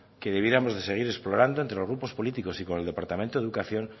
que debiéramos de seguir explorando entre los grupos políticos y con el departamento de educación